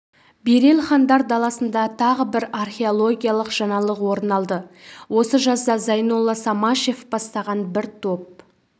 берел хандар даласында тағы бір археологиялық жаңалық орын алды осы жазда зайнолла самашев бастаған бір топ